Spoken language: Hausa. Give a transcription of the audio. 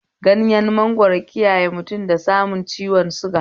Ganyen mangwaro kiyaye mutum da samun ciwon suga